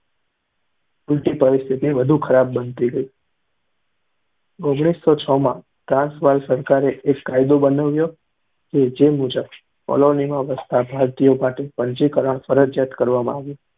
ઊલટી પરિસ્થિતિ વધુ ખરાબ બનતી ગઈ. ઓગણીસો છ માં ટ્રાન્સવાલ સરકારે એક કાયદો બનાવ્યો જે મુજબ કૉલોનીમાં વસતા ભારતીયો માટે પંજીકરણ ફરજીયાત કરવામાં આવ્યું.